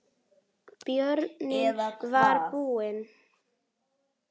Bjórinn var búinn.